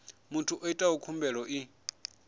muthu o itaho khumbelo i